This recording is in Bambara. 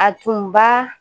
A tun b'a